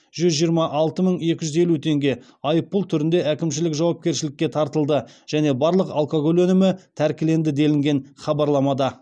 жүз жиырма алты мың екі жүз елу теңге айыппұл түрінде әкімшілік жауапкершілікке тартылды және барлық алкоголь өнімі тәркіленді делінген хабарламада